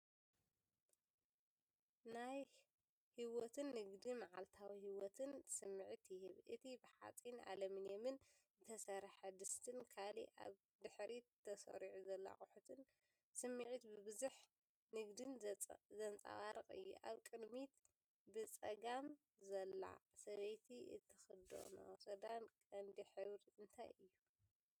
ናይ ህይወትን ንግድን መዓልታዊ ህይወትን ስምዒት ይህብ። እቲ ብሓጺንን ኣሉሚንየምን ዝተሰርሐ ድስቲን ካልእ ኣብ ድሕሪት ተሰሪዑ ዘሎ ኣቑሑትን፡ ስምዒት ብዝሕን ንግድን ዘንጸባርቕ እዩ። ኣብ ቅድሚት ብጸጋም ዘላ ሰበይቲ እትኽደኖ ክዳን ቀንዲ ሕብሪ እንታይ እዩ?